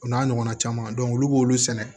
O n'a ɲɔgɔnna caman olu b'olu sɛnɛ